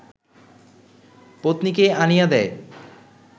পত্নীকে আনিয়া দেয়